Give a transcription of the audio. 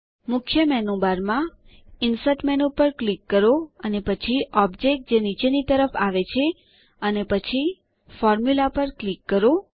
મુખ્ય મેનુબારમાં insert menu પર ક્લિક કરો અને પછી ઓબ્જેક્ટ જે નીચેની તરફ આવે છે અને પછી ફોર્મ્યુલા પર ક્લિક કરો